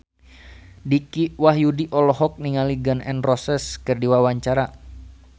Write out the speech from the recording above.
Dicky Wahyudi olohok ningali Gun N Roses keur diwawancara